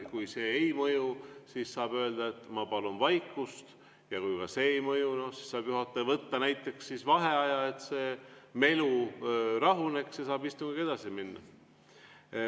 Kui see ei mõju, siis saab öelda, et ma palun vaikust, ja kui ka see ei mõju, saab juhataja võtta näiteks vaheaja, et see melu rahuneks ja saab istungiga edasi minna.